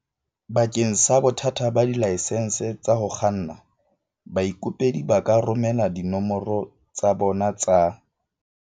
Bakeng sa bothata ba dilaesense tsa ho kganna, baikopedi ba ka romela dinomoro tsa bona tsa